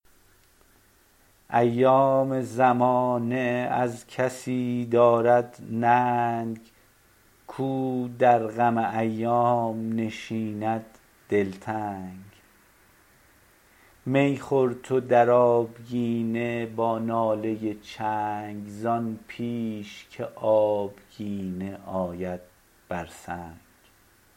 ایام زمانه از کسی دارد ننگ کاو در غم ایام نشیند دلتنگ می خور تو در آبگینه با ناله چنگ زآن پیش که آبگینه آید بر سنگ